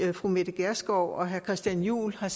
fru mette gjerskov og herre christian juhl har